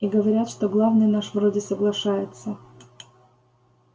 и говорят что главный наш вроде соглашается